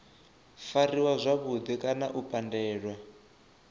fariwa zwavhudi kana u pandelwa